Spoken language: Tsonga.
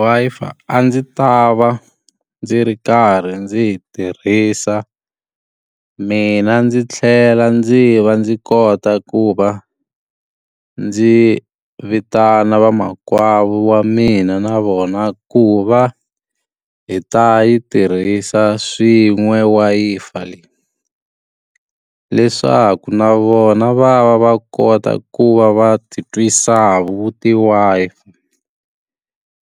Wi-Fi a ndzi ta va ndzi ri karhi ndzi yi tirhisa, mina ndzi tlhela ndzi va ndzi kota ku va ndzi vitana vamakwavo wa mina na vona ku va hi ta yi tirhisa swin'we Wi-Fi leyi. Leswaku na vona va va va kota ku va va ti twisa vu ti-Wi-Fi.